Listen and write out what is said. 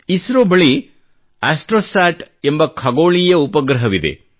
ಇಸ್ರೋ ಬಳಿ ಆಸ್ಟ್ರೋಸ್ಯಾಟ್ ಎಂಬ ಖಗೋಳೀಯ ಉಪಗ್ರಹವಿದೆ